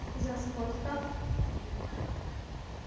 и за сколько